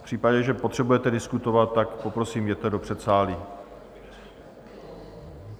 V případě, že potřebujete diskutovat, tak poprosím, jděte do předsálí.